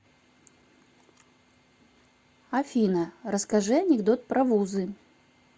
афина расскажи анекдот про вузы